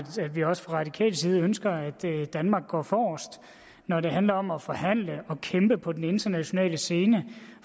vi også fra radikal side ønsker at danmark går forrest når det handler om at forhandle og kæmpe på den internationale scene